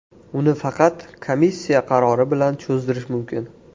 Uni faqat komissiya qarori bilan cho‘zdirish mumkin.